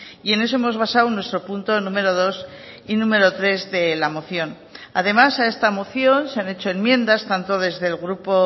y en eso hemos basado nuestro punto número dos y número tres de la moción además a esta moción se han hecho enmiendas tanto desde el grupo